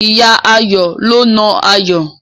Ìyá Ayọ̀ ló na Ayọ̀.